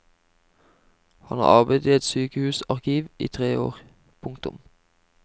Han har arbeidet i et sykehusarkiv i tre år. punktum